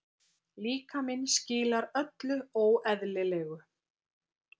Líkaminn skilar öllu óeðlilegu.